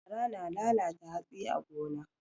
Fara na lalata hatsi a gona.